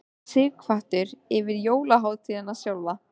Sighvatur: Yfir jólahátíðina sjálfa?